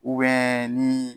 ni